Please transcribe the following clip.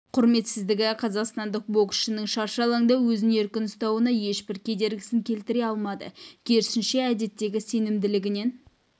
құрметсіздігі қазақстандық боксшының шаршы алаңда өзін еркін ұстауына ешбір кедергісін келтіре алмады керісінше әдеттегі сенімділігінен